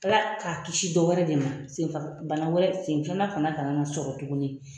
Ala k'a kisi dɔwɛrɛ de ma sen senfaga bana wɛrɛ sen filanan fana kana na sɔrɔ tuguni.